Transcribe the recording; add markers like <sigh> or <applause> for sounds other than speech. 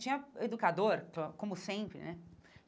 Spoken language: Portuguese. Tinha educador, <unintelligible> como sempre né.